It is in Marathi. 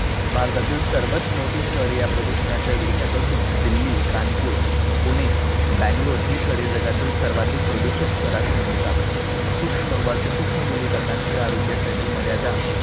भारतातील सर्मोवात मोठी शहरे या प्रदूषणाच्या विळख्यात असून दिल्ली, कानपूर, पुणे, banglore, ही शहरे जगातील सर्वाधिक प्रदूषित शहरांत मोडतात, सूक्ष्म वाती, सुक्ष्म धुलीकणांची आरोग्यासाठी मर्यादा